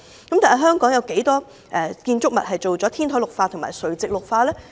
但是，香港有多少建築物已完成天台或垂直綠化呢？